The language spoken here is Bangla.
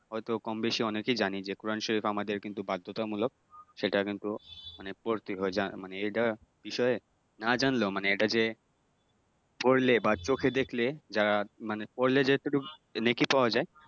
হয়তো কম বেশি অনেকেই জানি যে কোরআন শরীফ আমাদের কিন্তু বাধ্যতামূলক । সেটা কিন্তু মানে পড়তে হয় মানে এইটা বিষয়ে না জানলেও মানে এইটা যে পড়লে বা চোখে দেখলে যারা মানে পড়লে যে যতটুক নেকি পাওয়া যায়